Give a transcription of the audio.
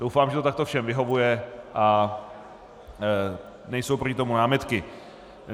Doufám, že to takto všem vyhovuje a nejsou proti tomu námitky.